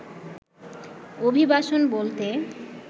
অভিবাসন বলতে